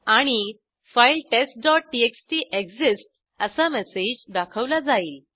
आणि फाइल testटीएक्सटी एक्सिस्ट्स असा मेसेज दाखवला जाईल